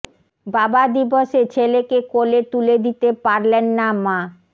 বাবা দিবসে ছেলেকে কোলে তুলে দিতে পারলেন না মা